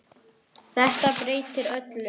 Þetta breytir öllu.